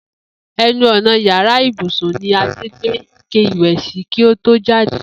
E̩nu ò̩nà yàrá ibùsùn ni Adé gbé ike ìwè̩ sí kí ó tó jáde